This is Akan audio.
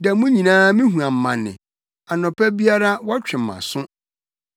Da mu nyinaa mihu amane; anɔpa biara wɔtwe mʼaso.